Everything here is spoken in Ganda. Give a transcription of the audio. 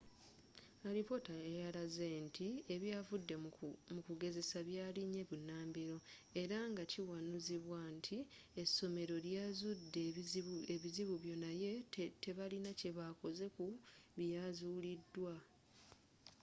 alipoota yalaze nti ebyavudde mu kugezesa byalinye bunambiro era nga kiwanuuzibwa nti essomero lyazudde ebizibu bio naye tebalina kyebakoze ku byazuulidwa